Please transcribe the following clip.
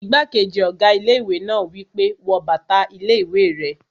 Igbákejì ọ̀gá ilé-ìwé náà wí pé, "wọ bàtà ilé-ìwé rẹ!"